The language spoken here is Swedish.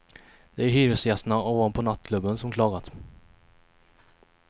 Det är hyresgästerna ovanpå nattklubben som klagat.